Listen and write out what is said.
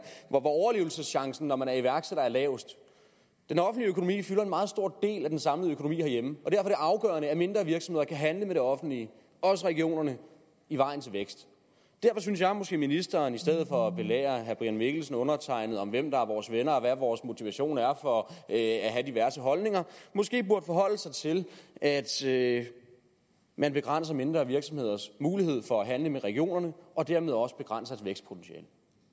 hvor overlevelseschancen når man er iværksætter er lavest den offentlige økonomi fylder en meget stor del af den samlede økonomi herhjemme og det afgørende at mindre virksomheder kan handle med det offentlige også regionerne i vejen til vækst derfor synes jeg måske at ministeren i stedet for at belære herre brian mikkelsen og undertegnede om hvem der er vores venner og hvad vores motivation er for at have diverse holdninger burde forholde sig til at at man begrænser mindre virksomheders mulighed for at handle med regionerne og dermed også begrænser et vækstpotentiale